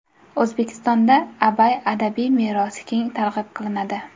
O‘zbekistonda Abay adabiy merosi keng targ‘ib qilinadi.